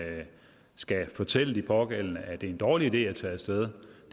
skal fortælle de pågældende at det er en dårlig idé at tage af sted